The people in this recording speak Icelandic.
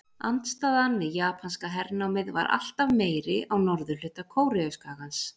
Andstaðan við japanska hernámið var alltaf meiri á norðurhluta Kóreuskagans.